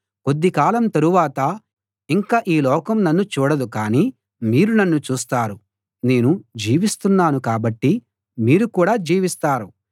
కొద్దికాలం తరువాత ఇంక ఈ లోకం నన్ను చూడదు కాని మీరు నన్ను చూస్తారు నేను జీవిస్తున్నాను కాబట్టి మీరు కూడా జీవిస్తారు